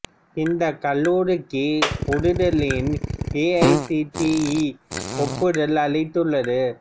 இந்த கல்லூரிக்கு புது தில்லியின் A I C T E ஒப்புதல் அளித்துள்ளது